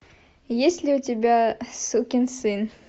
есть ли у тебя сукин сын